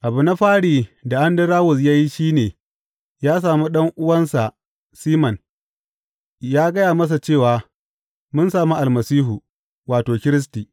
Abu na fari da Andarawus ya yi shi ne ya sami ɗan’uwansa Siman ya gaya masa cewa, Mun sami Almasihu wato, Kiristi.